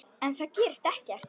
En það gerist ekkert.